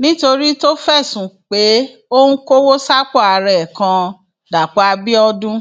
nítorí tó fẹsùn pé ó ń kọwọ sápò ara ẹ kan dàpọ abiodun